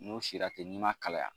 N'o sira ten n'i ma kalaya.